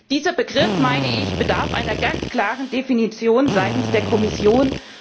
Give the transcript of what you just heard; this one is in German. Dieser Begriff bedarf einer ganz klaren Definition seitens der Kommission.